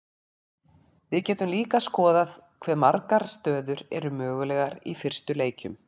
við getum líka skoðað hve margar stöður eru mögulegar í fyrstu leikjum